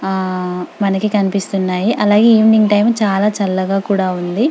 ఆహ్ మనకు కనిపిస్తున్నాయి అలాగే ఈవెనింగ్ టైం చాల చల్లగా కూడా ఉంది .